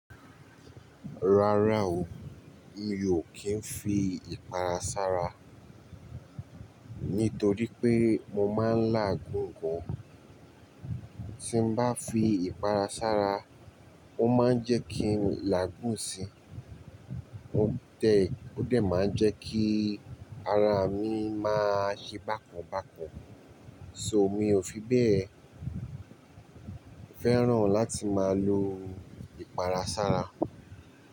Rárá o, mi ò kí ń fi ìpara sára, nítorí pé mo máa ń làágùn gan. Tí n bá fi ìpara sára, ó máa ń jẹ́ kí n làágùn si. Ó dẹ̀, ó dẹ̀ máa ń jẹ́ kí ara mi máa ṣe bákan bákan. So mi ò fi bẹ́ẹ̀ fẹ́ràn láti máa lo ìpara sára.